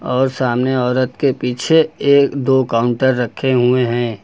और सामने औरत के पीछे एक दो काउंटर रखे हुए हैं।